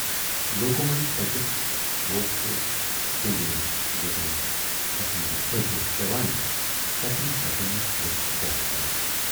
لوٗکو مٔنزۍ پٔکِتھ ووت سُہ پینجہِ نِش تہٕ ییتٮ۪ن تسٕندۍ پٔدۍ ٲسۍ پٮ۪وان تٔتٮ۪ن تٔتٮ۪ن ٲسۍ لوٗکھ بوسہٕ کران۔